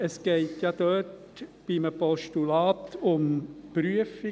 Es geht ja bei einem Postulat um eine Prüfung.